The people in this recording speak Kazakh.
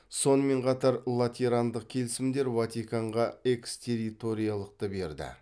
сонымен қатар латерандық келісімдер ватиканға экстерриториялықты берді